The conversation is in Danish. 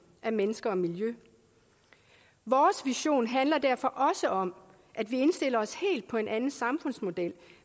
af mennesker og miljø vores vision handler derfor også om at vi indstiller os helt på en anden samfundsmodel